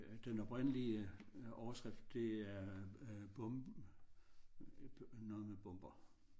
Den oprindelige overskrift det er øh bomb noget med bomber